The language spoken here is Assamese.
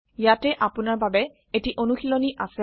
ইয়াতে আপোনাৰ বাবে এটি অনুশীলনী আছে